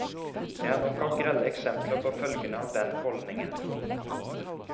Det er nok av grelle eksempler på følgene av den holdningen.